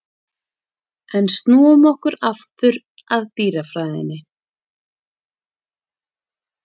En snúum okkur aftur að dýrafræðinni.